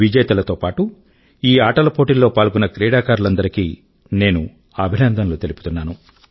విజేతల తో పాటూ ఈ ఆటలపోటీల్లో పాల్గొన్న క్రీడాకారులందరి కీ నేను అభినందనలు తెలుపుతున్నాను